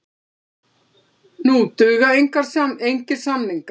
Nú duga engir samningar.